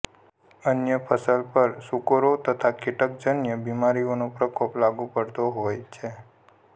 અન્ય ફસલ પર સૂકરો તથા કીટકજન્ય બીમારીઓનો પ્રકોપ લાગુ પડતો હોય છે